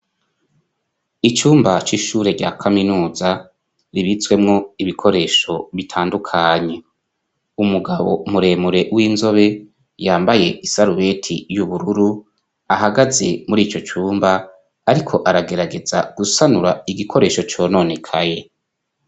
Icumba c'ishure rya Kaminuza kibitswemwo ibikoresho bitandukanye. Umugabo muremure w'inzobe yambaye isarubeti y'ubururu ahagaze muri ico cumba , ariko aragerageza gusanura igikoresho cononekaye.